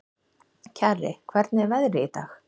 Kjarri, hvernig er veðrið í dag?